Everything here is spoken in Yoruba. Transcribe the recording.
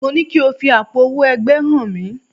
Mo ní ko fi àpò owó ẹgbẹ́ hàn mí!